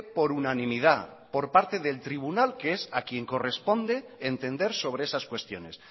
por unanimidad por parte del tribunal que es a quién corresponde entender sobre esas cuestiones